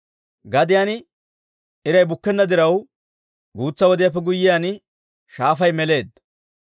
Gadiyaan iray bukkenna diraw, guutsa wodiyaappe guyyiyaan shaafay meleedda.